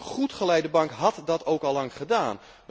Een goed geleide bank had dat ook al lang gedaan.